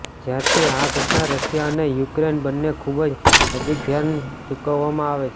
જ્યારથી આ ઘટના રશિયા અને યુક્રેન બંને ખૂબ નજીક ધ્યાન ચૂકવવામાં આવે છે